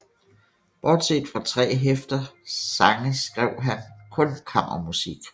Bortset fra tre hæfter sange skrev han kun kammermusik